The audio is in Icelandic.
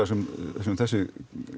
sem þessi